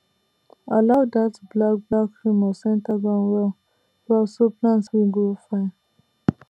allow dat black black humus enter ground well well so plants fit grow fine